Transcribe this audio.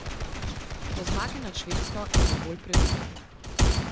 Po zmagi nad Švedsko je bil bolj previden.